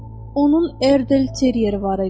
Onun Erdelt Terrieri var idi.